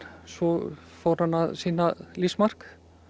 svo fór hann að sýna lífsmark